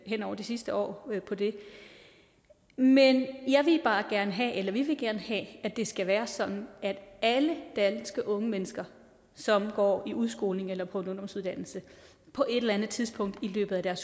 hen over det sidste år på det men jeg vil bare gerne eller vi vil bare have at det skal være sådan at alle danske unge mennesker som går i udskolingen eller på en ungdomsuddannelse på et eller anden tidspunkt i løbet af deres